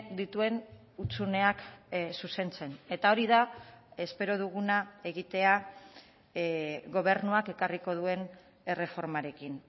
dituen hutsuneak zuzentzen eta hori da espero duguna egitea gobernuak ekarriko duen erreformarekin